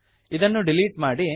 ಇದನ್ನು ಡಿಲೀಟ್ ಮಾಡಿ